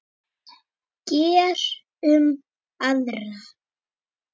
Gerum aðra.